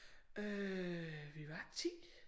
Øh vi var 10